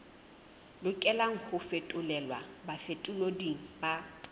lokelang ho fetolelwa bafetoleding ba